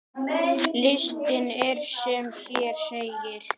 Listinn er sem hér segir